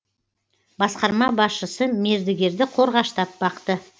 басқарма басшысы мердігерді қорғаштап бақты